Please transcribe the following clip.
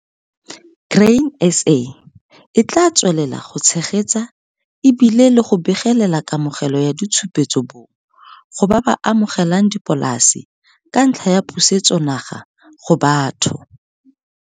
Grain SA e tlaa tswelela go tshegetsa e bile le go begelela kamogelo ya ditshupetso bong go ba ba amogelang dipolase ka ntlha ya Pusetsonaga go Batho.